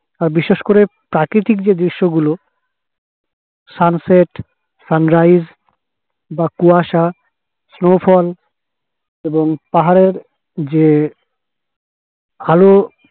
আর বিশেষ করে প্রাকৃতিক যে দৃশ্য গুলো sunset sunrise কুয়াশা snowfall এবং পাহাড়ের যে ঢালু